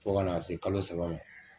Fo kana se kalo saba ma